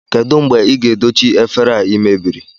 Kedụ mgbe ị ga-edochi efere a ị mebiri?